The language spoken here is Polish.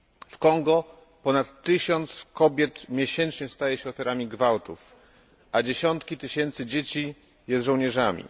W Kongo ponad tysiąc kobiet miesięcznie staje się ofiarami gwałtów, a dziesiątki tysięcy dzieci jest żołnierzami.